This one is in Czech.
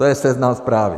To je Seznam Zprávy!